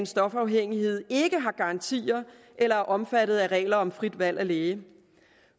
stofafhængighed ikke har garantier eller er omfattet af regler om frit valg af læge